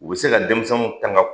U be se ka denmisɛnnu tanga